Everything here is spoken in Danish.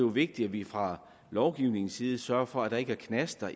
er vigtigt at vi fra lovgivernes side sørger for at der ikke er knaster